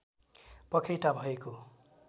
पखेटा भएको